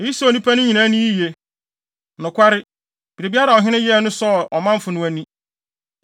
Eyi sɔɔ nnipa no ani yiye. Nokware, biribiara a ɔhene no yɛe no sɔɔ ɔmanfo no ani.